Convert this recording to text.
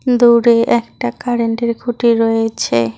দূরে একটা কারেন্টের খুঁটি রয়েছে।